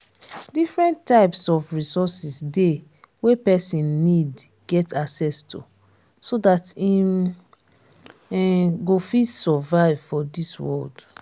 different types of resources de wey persin need get access to so that im um go fit survive for this world